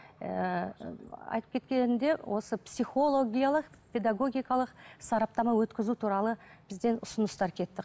ііі айтып кеткенімде осы психологиялық педагогикалық сараптама өткізу туралы бізден ұсыныстар кетті